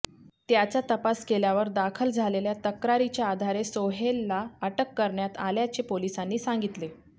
त्याचा तपास केल्यावर दाखल झालेल्या तक्रारीच्या आधारे सोहेलला अटक करण्यात आल्याचे पोलिसांनी सांगितले